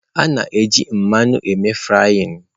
A na-eji mmanụ eme frying.